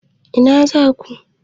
Ina za ku?